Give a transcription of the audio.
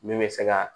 Min bɛ se ka